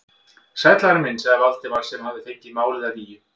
Sæll, Ari minn sagði Valdimar sem fengið hafði málið að nýju.